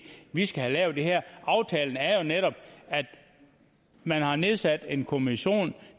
vi skal have lavet det her aftalen er jo netop at man har nedsat en kommission